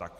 Tak.